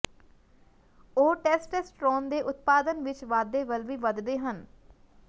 ਉਹ ਟੈਸਟੈਸਟਰੋਨ ਦੇ ਉਤਪਾਦਨ ਵਿੱਚ ਵਾਧੇ ਵੱਲ ਵੀ ਵਧਦੇ ਹਨ